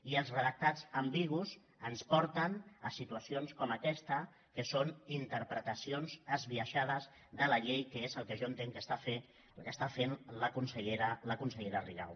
i els redactats ambigus ens porten a situacions com aquesta que són interpretacions esbiaixades de la llei que és el que jo entenc que està fent la consellera rigau